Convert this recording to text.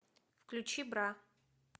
включи бра